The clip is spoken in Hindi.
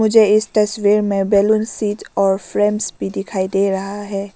मुझे इस तस्वीर में बैलून सीट और फ्रेम्स भी दिखाई दे रहा है।